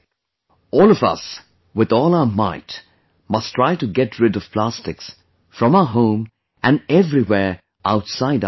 All of us with all our might must try to get rid of plastics from our home and everywhere outside our houses